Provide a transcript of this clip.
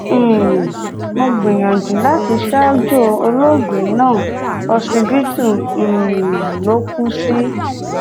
um mo gbìyànjú láti ṣaájò ológbe náà ọsibítù um ló kù sí